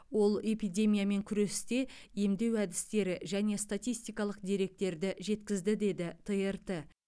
ол эпидемиямен күресте емдеу әдістері және статистикалық деректерді жеткізді деді трт